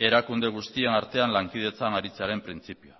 erakunde guztien artean lankidetzan aritzearen printzipioa